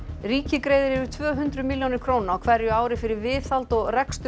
ríkið greiðir yfir tvö hundruð milljónir króna á hverju ári fyrir viðhald og rekstur